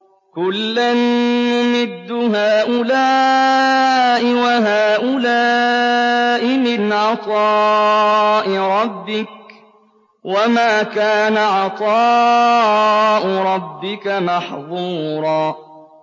كُلًّا نُّمِدُّ هَٰؤُلَاءِ وَهَٰؤُلَاءِ مِنْ عَطَاءِ رَبِّكَ ۚ وَمَا كَانَ عَطَاءُ رَبِّكَ مَحْظُورًا